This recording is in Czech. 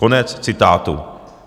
Konec citátu.